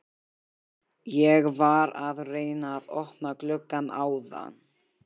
Ég var að reyna að opna gluggann áðan.